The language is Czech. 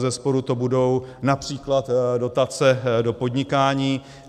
Bezesporu to budou například dotace do podnikání.